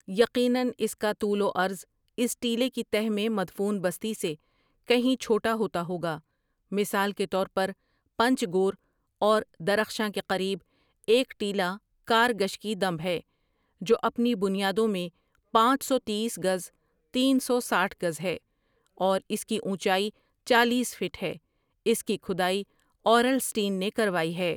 یقناً اس کا طول و عرض اس ٹیلے کی تہ میں مدفون بستی سے کہیں چھوٹا ہوتا ہوگا مثال کے طور پر پنج گور اور درخشاں کے قریب ایک ٹیلہ کار گشکی دمب ہے جو اپنی بنیادوں میں پانچ سو تیس گز تین سو سٹھ گز ہے اور اس کی اونچائی چالیس فٹ ہے اس کی کھدائی اورل سٹین نے کروائی ہے ۔